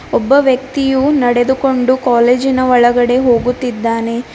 ಒಬ್ಬ ವ್ಯಕ್ತಿಯು ನಡೆದುಕೊಂಡು ಕಾಲೇಜಿನ ಒಳಗಡೆ ಹೋಗುತ್ತಿದ್ದಾನೆ.